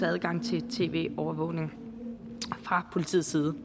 adgangen til tv overvågning fra politiets side